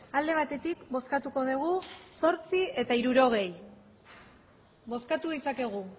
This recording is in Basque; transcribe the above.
alde batetik bozkatuko dugu zortzi eta hirurogei bozkatu ditzakegu